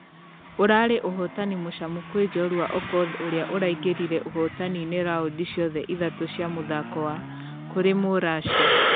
Ũrarĩ ũhotanĩ mũcamu kwĩ jorua okoth ũrĩa ũraingĩrire ũhotani-inĩ raundi ciothe ithatũ cia mũthako wa....kũrĩ mũrussia.